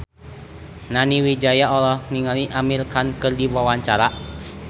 Nani Wijaya olohok ningali Amir Khan keur diwawancara